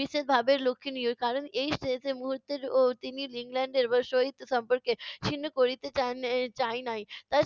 বিশেষভাবে লক্ষ্যনীয় । কারণ এই শেষের মুহুর্তেও তিনি ইংল্যান্ডের সহিত সম্পর্কের ছিন্ন করিতে চান চাহে নাই। তাই